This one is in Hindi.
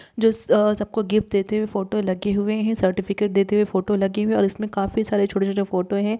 जो अ सबको गिफ्ट देते हुए फोटो लगे हुए हैं सर्टिफिकेट देते हुए फोटो लगे हुए हैं और इसमें काफी सारे छोटे छोटे फोटो हैं।